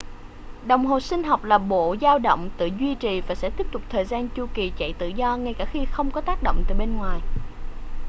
đồng hồ sinh học là bộ dao động tự duy trì và sẽ tiếp tục thời gian chu kỳ chạy tự do ngay cả khi không có tác động từ bên ngoài